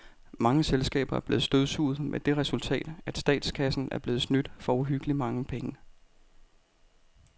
Mange selskaber er blevet støvsuget med det resultat, at statskassen er blevet snydt for uhyggeligt mange penge.